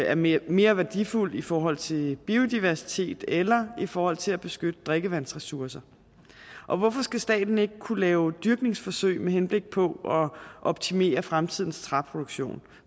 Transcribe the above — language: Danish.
er mere mere værdifuld i forhold til biodiversitet eller i forhold til at beskytte drikkevandsressourcer og hvorfor skal staten ikke kunne lave dyrkningsforsøg med henblik på at optimere fremtidens træproduktion